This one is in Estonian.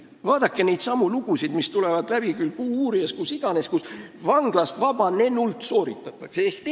Vaadake neidsamu lugusid, mis jõuavad meieni "Kuuuurija" kaudu või kust iganes: vanglast vabanenult sooritatakse uusi kuritegusid.